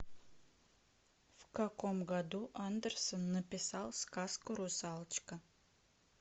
в каком году андерсон написал сказку русалочка